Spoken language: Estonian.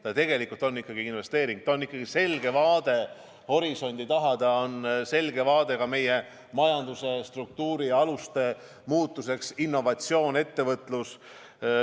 See tegelikult on ikkagi investeering, see on selge vaade horisondi taha, see on selge vaade ka meie majanduse struktuuri aluste muutmisele, innovatsioon, ettevõtlus.